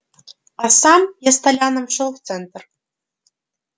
а сам я с толяном шёл в центр